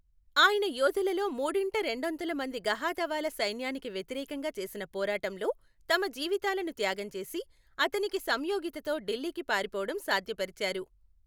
ఆయన యోధులలో మూడింట రెండొంతుల మంది గహాదవాల సైన్యానికి వ్యతిరేకంగా చేసిన పోరాటంలో తమ జీవితాలను త్యాగం చేసి, అతనికి సంయోగితతో ఢిల్లీకి పారిపోవటం సాధ్యపరిచారు .